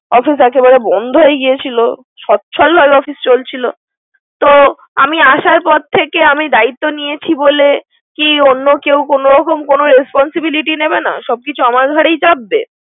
অত কথা বলা বন্ধ হয়ে গেয়েছিল । সচ্ছল ভাবে অফিস চলছিল, তো আমি আসার পর থেকে। আমি দায়িত্ব নিয়েছি বলে কি অন্য কোন রকম কোন responsibility নিবে না। সব কিছু আমার ঘেরাই চাপবে।